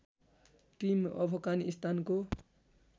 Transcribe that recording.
team अफगानिस्तानको